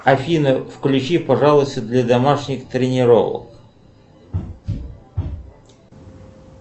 афина включи пожалуйста для домашних тренировок